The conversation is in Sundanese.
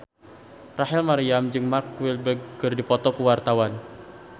Rachel Maryam jeung Mark Walberg keur dipoto ku wartawan